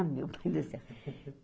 Ah, meu Deus do céu.